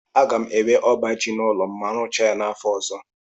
A ga m enwe ọba ji n'ụlọ m na mu rụchaa ya n'afọ ọzọ.